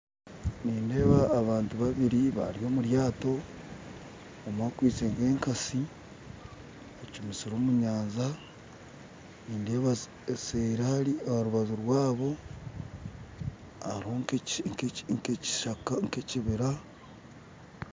Nindeeba abantu babiiri bari omu ryaato omwe akwistye nka ekatsi ecumitsire omu nyanja nindeeba eseeri hari aharubaju rwabo hariho nka ekibira